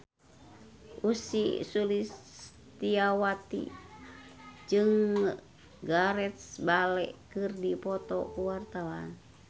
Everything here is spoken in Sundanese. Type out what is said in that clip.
Ussy Sulistyawati jeung Gareth Bale keur dipoto ku wartawan